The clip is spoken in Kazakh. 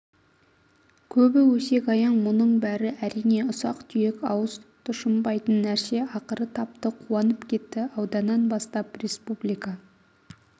көбі өсек-аяң мұның бәрі әрине ұсақ-түйек ауыз тұщынбайтын нәрсе ақыры тапты қуанып кетті ауданнан бастап республика